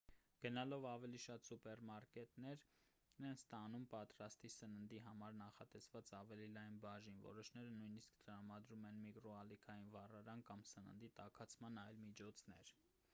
գնալով ավելի շատ սուպերմարկետներ են ստանում պատրաստի սննդի համար նախատեսված ավելի լայն բաժին որոշները նույնիսկ տրամադրում են միկրոալիքային վառարան կամ սննդի տաքացման այլ միջոցներ